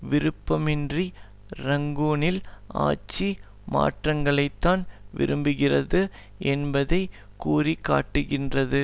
விருப்பமின்றி ரங்கூனில் ஆட்சி மாற்றத்தைத்தான் விரும்புகிறது என்பதை குறிகாட்டுகின்றது